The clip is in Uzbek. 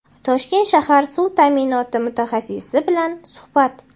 Toshkent shahar suv ta’minoti mutaxassisi bilan suhbat.